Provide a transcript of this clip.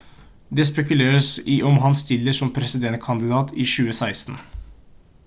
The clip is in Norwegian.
det spekuleres i om han stiller som presidentkandidat i 2016